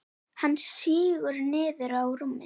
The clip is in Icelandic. Hann sígur niður á rúmið.